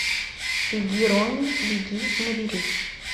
беги рони беги набери